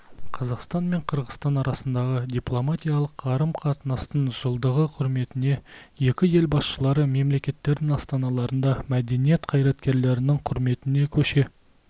қазақстан мен қырғызстан арасындағы дипломатиялық қарым-қатынастың жылдығы құрметіне екі ел басшылары мемлекеттердің астаналарында мәдениет қайраткерлерінің құрметіне көше